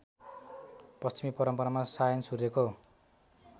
पश्चिमी परम्परामा सायनसूर्यको